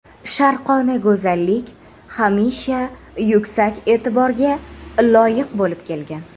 Sharqona go‘zallik hamisha yuksak e’tiborga loyiq bo‘lib kelgan.